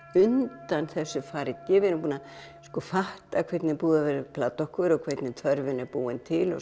undan þessu fargi við erum búin að fatta hvernig búið er að plata okkur og hvernig þörfin er búin til og